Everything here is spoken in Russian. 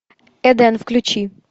эден включи